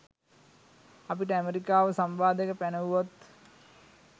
අපිට ඇමරිකාව සම්බාධක පැනෙව්වොත්